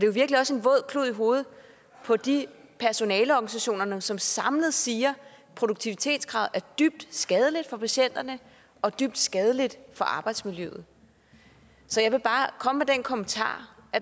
jo virkelig også en våd klud i hovedet på de personaleorganisationer som samlet siger at produktivitetskravet er dybt skadeligt for patienterne og dybt skadeligt for arbejdsmiljøet så jeg vil bare komme med den kommentar